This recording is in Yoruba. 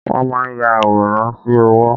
Wọ́n máa ń ya àwòrán sí owó.